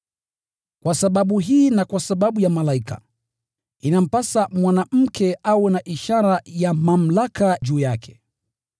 Kwa sababu hii na kwa sababu ya malaika, inampasa mwanamke awe na ishara ya mamlaka juu yake.